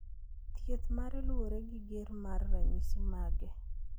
Thieth mare luwore gi ger mar ranyisi mage.